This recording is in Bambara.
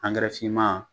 finman